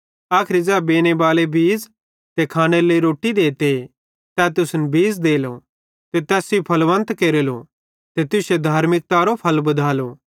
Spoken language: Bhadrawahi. आखरी ज़ै बेनेबालो बीज़ ते खानेरे लेइ रोट्टी देते तै तुसन बीज़ देलो ते तैस सेइं फलवन्त केरेलो ते तुश्शे धार्मिकतारो फल बधालो